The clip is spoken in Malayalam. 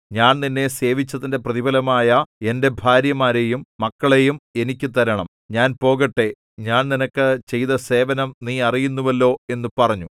ഞാൻ നിന്നെ സേവിച്ചതിന്റെ പ്രതിഫലമായ എന്റെ ഭാര്യമാരെയും മക്കളെയും എനിക്ക് തരണം ഞാൻ പോകട്ടെ ഞാൻ നിനക്ക് ചെയ്ത സേവനം നീ അറിയുന്നുവല്ലോ എന്നു പറഞ്ഞു